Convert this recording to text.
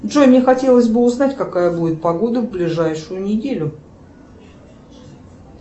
джой мне хотелось бы узнать какая будет погода в ближайшую неделю